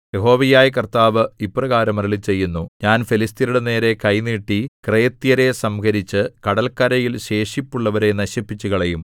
യഹോവയായ കർത്താവ് ഇപ്രകാരം അരുളിച്ചെയ്യുന്നു ഞാൻ ഫെലിസ്ത്യരുടെ നേരെ കൈ നീട്ടി ക്രേത്യരെ സംഹരിച്ച് കടല്ക്കരയിൽ ശേഷിപ്പുള്ളവരെ നശിപ്പിച്ചുകളയും